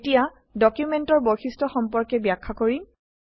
এতিয়া ডকুমেন্টেৰ বৈশিষ্ট্য সম্পৰ্কে ব্যাখ্যা কৰিম